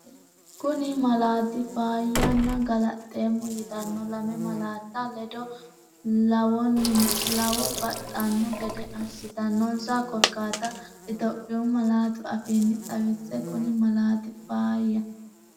Kuni malaati “faayya” nna “galaxxeemmo”yitanno lame malaatta ledo lawannon- baxxanno gede assitannonsa korkaatta Itophiyu malaatu afiinni xawisse Kuni malaati “faayya”.